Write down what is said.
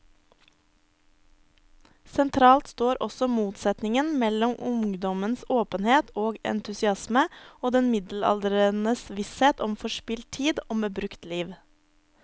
Sentralt står også motsetningen mellom ungdommens åpenhet og entusiasme og den middelaldrendes visshet om forspilt tid, om brukt liv.